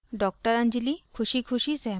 doctor anjali ख़ुशीख़ुशी सहमत होती है